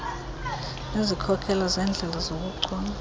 nezikhokelo zeendlela zobuchule